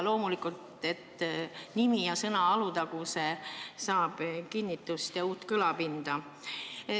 Loomulikult saab ka nimi ja sõna "Alutaguse" kinnitust ja uut kõlapinda.